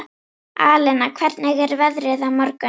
Alena, hvernig er veðrið á morgun?